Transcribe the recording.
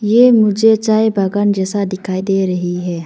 ये मुझे चाय बागान जैसा दिखाई दे रही है।